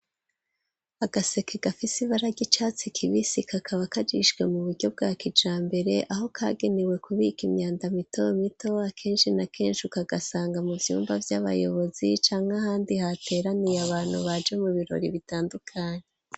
Agaseke gafise ibara ry'icatsi kibisi kakaba kajishijwe mu buryo bwa kijambere aho kagenewe kubika imyanda mito mito akenshi na kenshi ukagasanga mu vyumba vy'abayobozi canke ahandi hateraniye abantu baje mu birori bitandukanye.